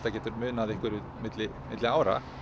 getur munað einhverju milli milli ára